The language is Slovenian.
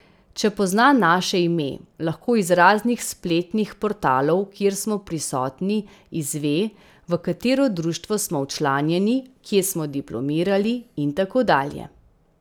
Če pozna naše ime, lahko iz raznih spletnih portalov, kjer smo prisotni, izve, v katero društvo smo včlanjeni, kje smo diplomirali in tako dalje.